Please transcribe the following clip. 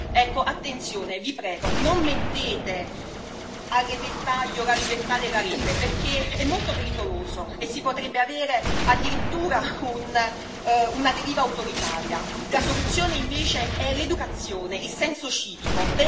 Ecco, attenzione vi prego, non mettete a repentaglio la libertà della rete, perché è molto pericoloso, e si potrebbe avere addirittura una deriva autoritaria. La soluzione, invece, è l'educazione, il senso civico.